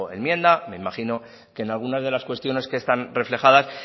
enmienda me imagino que en algunas de las cuestiones que están reflejadas